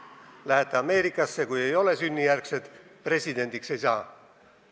Kui te lähete Ameerikasse ja te ei ole sünnijärgne kodanik, siis te presidendiks ei saa.